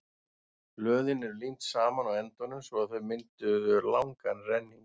blöðin voru límd saman á endunum svo að þau mynduðu langan renning